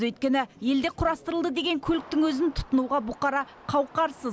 өйткені елде құрастырылды деген көліктің өзін тұтынуға бұқара қауқарсыз